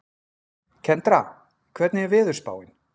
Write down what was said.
Kendra, hvernig er veðurspáin?